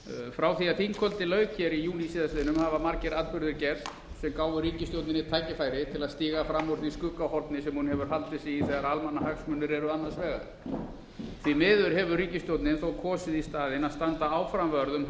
frá því að þingkvöldi lauk í júní síðastliðinn hafa margir atburðir gerst sem gáfu ríkisstjórninni tækifæri til að stíga fram úr því skuggahorni sem hún hefur haldið sig í þegar almannahagsmunir eru annars varar því miður hefur ríkisstjórnin þó kosið í staðinn að standa áfram vörð um